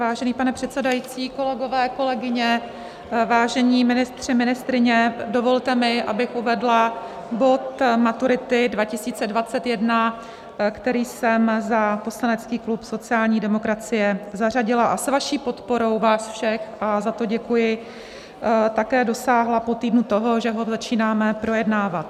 Vážený pane předsedající, kolegyně, kolegové, vážení ministři, ministryně, dovolte mi, abych uvedla bod Maturity 2021, který jsem za poslanecký klub sociální demokracie zařadila, a s vaší podporou vás všech, a za to děkuji, také dosáhla po týdnu toho, že ho začínáme projednávat.